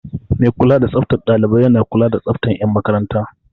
Mai kula da tsaftar ɗalibai yana kula da tsaftar 'yan makaranta.